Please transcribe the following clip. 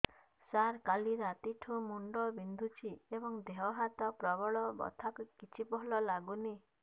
ସାର କାଲି ରାତିଠୁ ମୁଣ୍ଡ ବିନ୍ଧୁଛି ଏବଂ ଦେହ ହାତ ପ୍ରବଳ ବଥା କିଛି ଭଲ ଲାଗୁନି